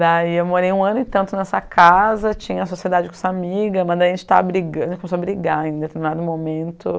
Daí eu morei um ano e tanto nessa casa, tinha sociedade com essa amiga, mas a gente estava brigando, a gente começou a brigar em determinado momento.